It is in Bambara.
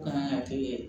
Kan ka kɛ